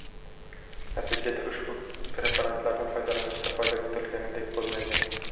Natijada, ushbu preparatlarni foydalanishda foyda kutilganiday bo‘lmaydi.